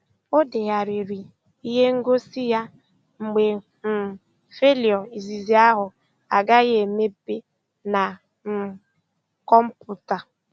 Ọ degharịrị ihe ngosi ya mgbe um faịlụ izizi ahụ agaghị emepe na um kọmpụta.